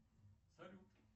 салют